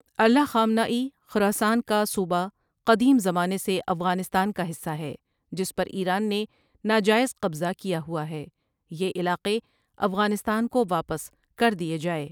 Allah Khamenei Khorasan کا صوبہ قدیم زمانے سے افغانستان کا حصہ ہے جس پر ایران نے ناجاٸز قبضہ کیا ہوا ہے، یہ علاقے افغانستان کو واپس کردۓ جاۓ ۔